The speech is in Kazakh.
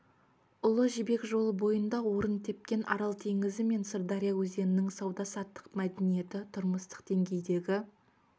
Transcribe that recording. ұлы жібек жолы бойында орын тепкен арал теңізі мен сырдария өзенінің сауда-саттық мәдениеті тұрмыстық деңгейдегі